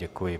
Děkuji.